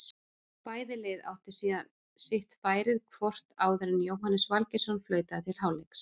Bæði lið áttu síðan sitt færið hvort áður en Jóhannes Valgeirsson flautaði til hálfleiks.